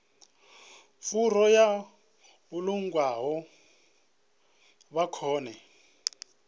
furu yo vhulungwaho vha kone